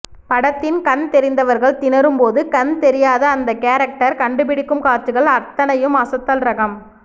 படத்தின் கண் தெரிந்தவர்கள் தினரும் போது கண் தெரியாத அந்த கேரக்டர் கண்டுபிடிக்கும் காட்சிகள் அத்தனையும் அசத்தல் ரகம்